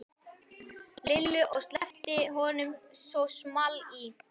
Lillu og sleppti honum svo small í.